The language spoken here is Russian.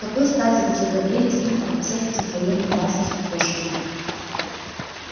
с какой стати вы заговорили с ним обо всех этих военных базах и пошлина